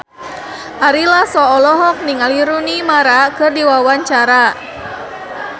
Ari Lasso olohok ningali Rooney Mara keur diwawancara